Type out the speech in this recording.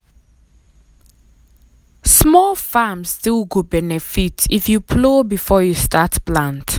small um farm still go um benefit if um you plow before you start plant.